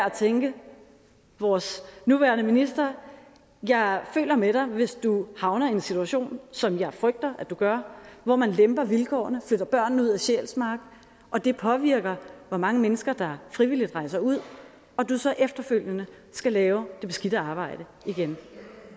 at tænke vores nuværende minister jeg føler med dig hvis du havner i en situation som jeg frygter at du gør hvor man lemper vilkårene flytter børnene ud af sjælsmark og det påvirker hvor mange mennesker der frivilligt rejser ud og du så efterfølgende skal lave det beskidte arbejde igen